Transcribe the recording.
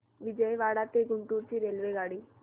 विजयवाडा ते गुंटूर ची रेल्वेगाडी